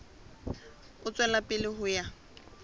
ho tswela pele ho ya